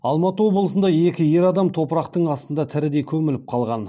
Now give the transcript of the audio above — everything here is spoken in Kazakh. алматы облысында екі ер адам топырақтың астына тірідей көміліп қалған